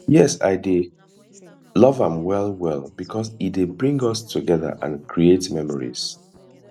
yes i dey love am well well because e dey bring us together and create memories